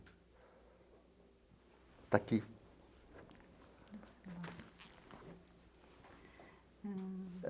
Está aqui.